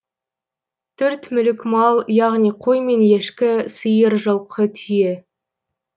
төрт түлік мал яғни қой мен ешкі сиыр жылқы түйе